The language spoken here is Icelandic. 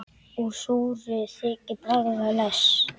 Úr súru þykir bragða best.